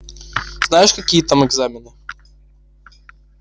знаешь какие там экзамены